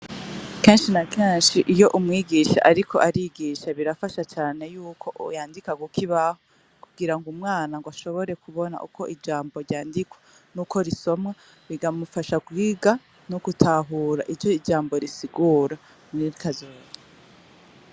Kenshi na kenshi iyo umwigisha ariko arigisha, birafasha cane yuko yandika ku kibaho kugirango umwana ashobore kubona uko ijambo ryandikwa n'uko risomwa, bikamufasha kwiga no gutahura ico ijambo risigura muri kazoza.